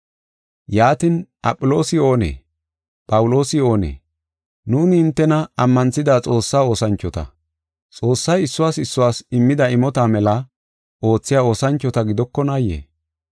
Yaatin, Aphiloosi oonee? Phawuloosi oonee? Nuuni hintena ammanthida Xoossaa oosanchota. Xoossay issuwas issuwas immida imota mela oothiya oosanchota gidokonaayee?